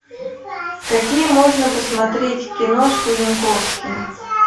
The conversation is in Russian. какие можно посмотреть киношку янковский